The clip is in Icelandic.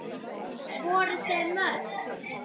Voru þau mörg?